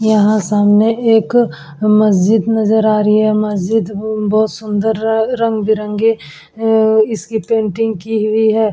यहाँ सामने एक मस्जिद नजर आ रही है। मस्जिद बहोत सुंदर रंग-बिरंगी अ इसकी पेंटिंग की हुई है।